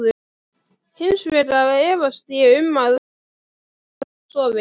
Hins vegar efast ég um að kona mín sofi.